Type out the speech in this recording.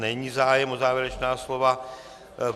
Není zájem o závěrečná slova.